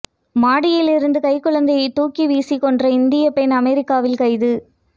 மாடியில் இருந்து கைக்குழந்தையை தூக்கி வீசிக் கொன்ற இந்தியப் பெண் அமெரிக்காவில் கைது